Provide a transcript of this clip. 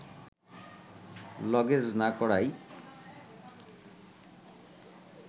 luggage না করাই